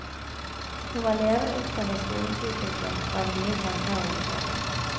Hun var levende opptatt av skolens utvikling, og av nye tanker og reformer.